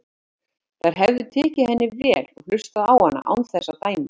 Þær hefðu tekið henni vel og hlustað á hana án þess að dæma.